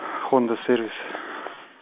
хонда сервис